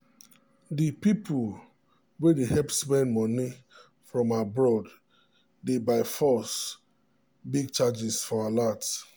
the people wey dey help send money from abroad de by byforce big charges for alert